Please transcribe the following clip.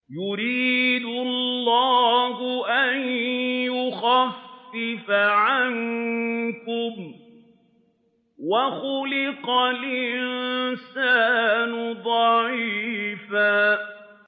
يُرِيدُ اللَّهُ أَن يُخَفِّفَ عَنكُمْ ۚ وَخُلِقَ الْإِنسَانُ ضَعِيفًا